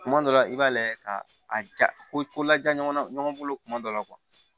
Tuma dɔ la i b'a lajɛ ka a ja ko laja ɲɔgɔnna ɲɔgɔn bolo kuma dɔ la